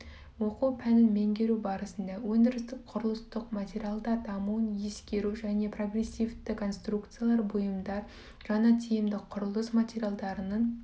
оқу пәнін меңгеру барысында өндірістік құрылыстық материалдар дамуын ескеру және прогрессивті конструкциялар бұйымдар жаңа тиімді құрылыс материалдарының